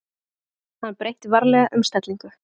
Hann breytti varlega um stellingu.